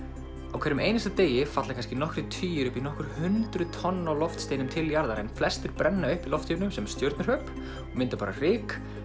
á hverjum einasta degi falla kannski nokkrir tugir upp í nokkur hundruð tonn af loftsteinum til jarðar en flestir brenna upp í loftinu sem stjörnuhröp og mynda bara ryk